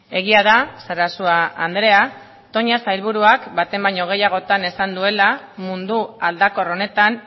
egia da sarasua andrea toña sailburuak baten baino gehiagotan esan duela mundu aldakor honetan